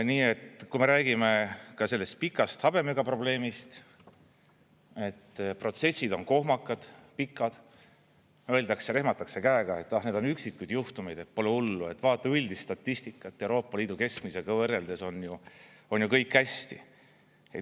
Nii et kui me räägime ka sellest pikast habemega probleemist, et protsessid on kohmakad, pikad, öeldakse, rehmatakse käega, et ah need on üksikud juhtumid, pole hullu, vaata üldist statistikat, Euroopa Liidu keskmisega võrreldes on ju kõik hästi.